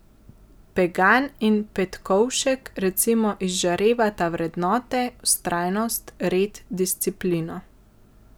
Pegan in Petkovšek recimo izžarevata vrednote, vztrajnost, red, disciplino.